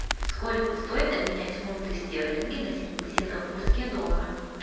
сколько стоит обменять фунты стерлинги на сингапурские доллары